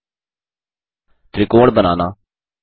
त्रिकोण बनाना